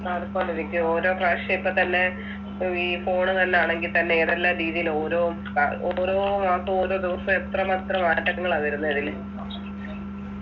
മാറിക്കൊണ്ടിരിക്കും ഓരോ പ്രാവശ്യം ഇപ്പൊ തന്നെ ഇപ്പൊ ഈ phone തന്നാണെങ്കി തന്നെ ഏതെല്ലാം രീതിയിൽ ഓരോ അഹ് ഓരോ മാസവും ഓരോ ദിവസവും എത്ര മാത്രം മാറ്റങ്ങളാ വരുന്നേ ഇതില്